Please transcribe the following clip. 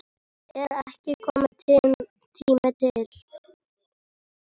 Er ekki kominn tími til?